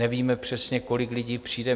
Nevíme přesně, kolik lidí přijde.